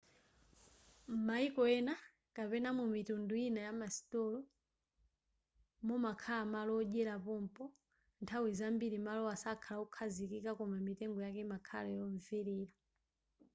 m'mayiko ena kapena mu mitundu ina yamasitolo mumakhala malo odyera pompo nthawi zambiri malowa sakhala okhazikika koma mitengo yake imakhala yomvelera